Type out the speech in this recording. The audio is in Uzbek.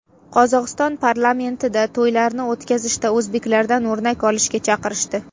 Qozog‘iston parlamentida to‘ylarni o‘tkazishda o‘zbeklardan o‘rnak olishga chaqirishdi.